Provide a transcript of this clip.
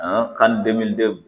kan